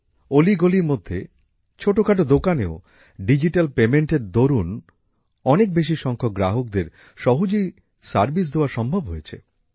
অলি গলির মধ্যে ছোটখাটো দোকানেও ডিজিট্যাল অর্থনীতির দরুন অনেক বেশি সংখ্যক গ্রাহককে সহজেই পরিষেবা দেওয়া সম্ভব হয়েছে